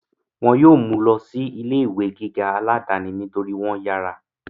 wọn yóò mú u lọ sí ilé ìwé gíga aláàdáni nítorí wọ́n yára